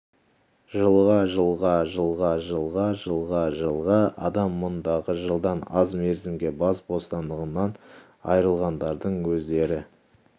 жылға жылға жылға жылға жылға жылға адам мұндағы жылдан аз мерзімге бас бостандығынан айырылғандардың өздері